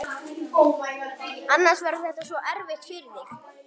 Annars verður þetta svo erfitt fyrir þig.